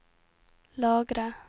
lagre